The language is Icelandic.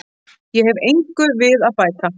Ég hef engu við að bæta.